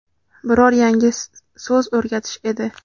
biror yangi so‘z o‘rgatish edi).